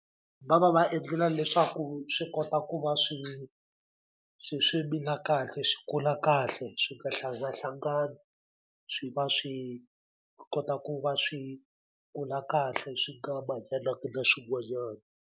Va va va edlela leswaku swi kota ku va swi swi swi mila kahle swi kula kahle swi nga hlanganahlangani swi va swi kota ku va swi kula kahle swi nga manyanangi na swin'wanyani.